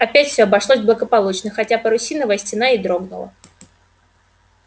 опять все обошлось благополучно хотя парусиновая стена и дрогнула